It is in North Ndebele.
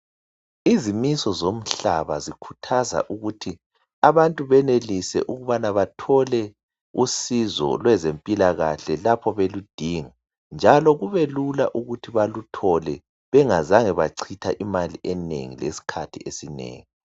Izimiso zomhlaba zikhuthaza ukuthi abantu benelise ukubana bathole usizo lwezempilakahle lapho beludinga njalo kubelula ukuthi baluthole bengazange bachitha imali enengi lesikhathi esinengi.